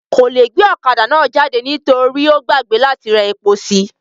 Kò le gbe ọ̀kadà náà jáde nítorí ó gbàgbé láti ra epo sí i